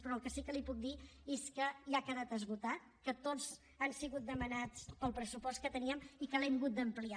però el que sí que li puc dir és que ja ha quedat esgotat que tots han sigut demanats pel pressupost que teníem i que l’hem hagut d’ampliar